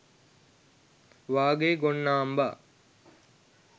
වාගේ ගොන් නාම්බා